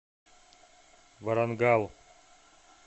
варангал